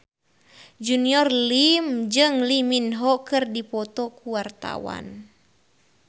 Junior Liem jeung Lee Min Ho keur dipoto ku wartawan